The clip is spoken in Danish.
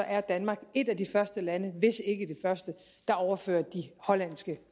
er danmark et af de første lande hvis ikke det første der overfører de hollandske